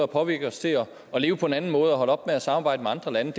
påvirker os til at leve på en anden måde og til at holde op med at samarbejde med andre lande